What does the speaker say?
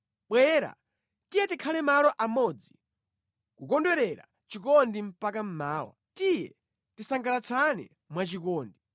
Bwera, tiye tikhale malo amodzi kukondwerera chikondi mpaka mmawa; tiye tisangalatsane mwachikondi!